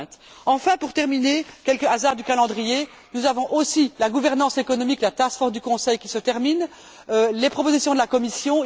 2020. Enfin, pour terminer, quelques hasards du calendrier nous avons aussi la gouvernance économique, la task force du Conseil qui se termine, les propositions de la Commission